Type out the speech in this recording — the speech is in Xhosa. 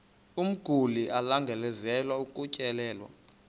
umguli alangazelelayo ukutyelelwa